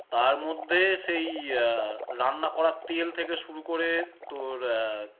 তারমধ্যে সেই আহ রান্না করার তেল থেকে শুরু করে তোর আহ